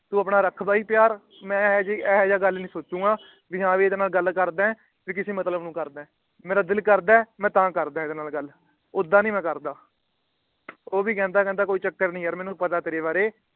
ਤੂੰ ਆਪਣਾ ਰੱਖ ਬਈ ਪਿਆਰ ਮੈ ਇਹੋ ਜਿਹਾ ਗੱਲ ਨਹੀਂ ਸੋਚੂਗਾ ਵੀ ਹਾਂ ਮੈ ਇਹਦੇ ਨਾਲ ਗੱਲ ਕਰਦਾ ਵੀ ਕਿਸੇ ਮਤਲਬ ਨੂੰ ਕਰਦਾ। ਮੇਰਾ ਦਿਲ ਕਰਦਾ ਮੈ ਤਾਂ ਕਰਦਾ ਇਹਦੇ ਨਾਲ ਗੱਲ ਓਦਾਂ ਨਹੀਂ ਮੈ ਕਰਦਾ । ਉਹ ਵੀ ਕਹਿੰਦਾ ਕਹਿੰਦਾ ਕੋਈ ਚੱਕਰ ਨਹੀਂ ਯਾਰ ਮੈਨੂੰ ਪਤਾ ਤੇਰੇ ਬਾਰੇ